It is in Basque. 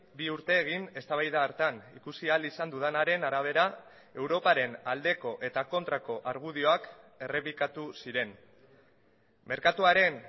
bi urte egin eztabaida hartan ikusi ahal izan dudanaren arabera europaren aldeko eta kontrako argudioak errepikatu ziren merkatuaren